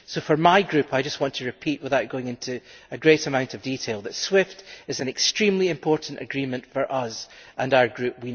For my group, I just want to repeat, without going into a great amount of detail, that SWIFT is an extremely important agreement for us and our group.